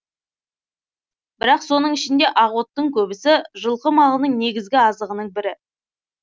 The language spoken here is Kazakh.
бірақ соның ішінде ақ оттың көбісі жылқы малының негізгі азығының бірі